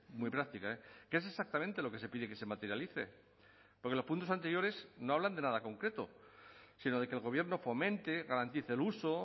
muy práctica qué es exactamente lo que se pide que se materialice porque los puntos anteriores no hablan de nada concreto sino de que el gobierno fomente garantice el uso